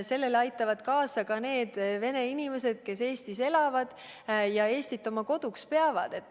Sellele aitavad kaasa ka need vene inimesed, kes Eestis elavad ja Eestit oma koduks peavad.